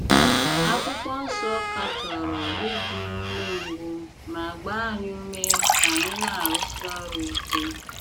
Akwụkwọ Nsọ katọrọ ịdị umengwụ ma gbaa anyị ume ka anyị na - arụsi ọrụ ike.